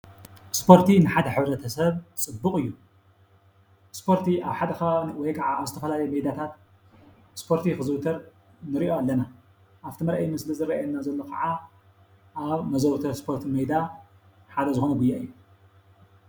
ስፖርቲ ንሓደ ሕብረተሰብ ፅቡቕ እዩ፡፡ ስፖርቲ ኣብ ሓደ ኸባቢ ወይ ከዓ ኣብ ዝተፈላለዩ ሜዳታት ስፖርቲ ኽዝውተር ንሪኦ ኣለና፡፡ ኣብቲ መርኣዪ ምስሊ ዝርኣየና ዘሎ ኸዓ መዘውተሪ ሜዳ ሓደ ዝኾነ ጉያ እዩ፡፡